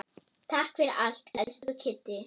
Takk fyrir allt, elsku Kiddi.